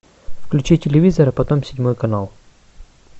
включи телевизор а потом седьмой канал